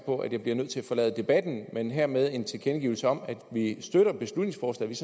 på at jeg bliver nødt til at forlade debatten men hermed en tilkendegivelse om at vi støtter beslutningsforslaget